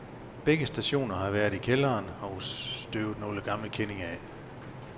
Begge stationer har været i kælderen og støvet nogle gamle kendinge af.